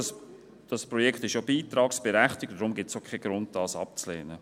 Dieses Projekt ist ja beitragsberechtigt, und deshalb gibt es auch keinen Grund, es abzulehnen.